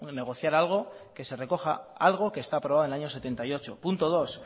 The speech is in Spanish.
negociar algo que se recoja algo que está aprobado en el año setenta y ocho punto dos